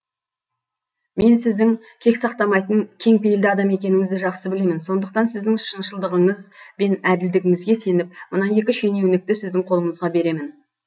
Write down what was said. мен сіздің кек сақтамайтын кеңпейілді адам екеніңізді жақсы білемін сондықтан сіздің шыншылдығыңыз бен әділдігіңізге сеніп мына екі шенеунікті сіздің қолыңызға беремін